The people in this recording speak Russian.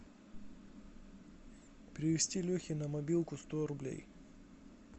перевести лехе на мобилку сто рублей